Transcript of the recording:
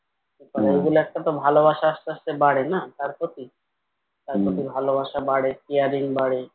এগুলো একটা তো ভালোবাসা আসতে আসতে বাড়ে না তার প্রতি? তার প্রতি ভালোবাসা বাড়ে caring বাড়ে